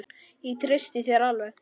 Ég treysti þér alveg.